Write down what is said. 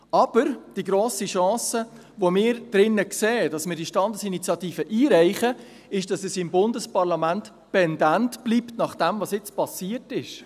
Aber die grosse Chance, die wir hier sehen, wenn wir diese Standesinitiative einreichen, ist, dass es im Bundesparlament pendent bleibt, nach dem was jetzt geschehen ist.